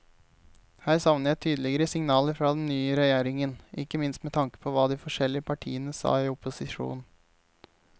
Her savner jeg tydeligere signaler fra den nye regjeringen, ikke minst med tanke på hva de forskjellige partiene sa i opposisjon.